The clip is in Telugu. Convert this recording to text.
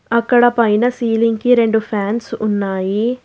అక్కడ పైన సీలింగ్ కి రెండు ఫ్యాన్స్ ఉన్నాయి.